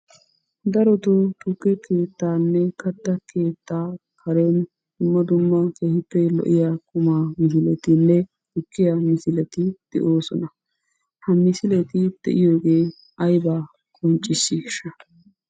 Darottoo tukke keettanne kattaa keettaa karen dumma dumma keehippe lo'iya qummaa misilettinne tukkiya misileti de'oosona. Ha misileti de'iyogee ayba qonccissiisha?